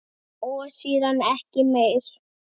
Og síðan ekki meir?